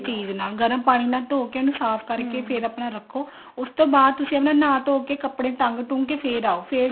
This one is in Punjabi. ਚੀਜ਼ ਨਾਲ ਗਰਮ ਪਾਣੀ ਨਾਲ ਧੋ ਕੇ ਉਹਨੂੰ ਸਾਫ਼ ਆਪਣਾ ਰੱਖੋ ਉਸਤੋਂ ਬਾਅਦ ਤੁਸੀਂ ਆਪਣਾ ਨਹਾ ਨਹੁ ਕਰ ਕੱਪੜੇ ਟੰਗ ਟੁੰਗ ਕੇ ਫ਼ੇਰ ਆਓ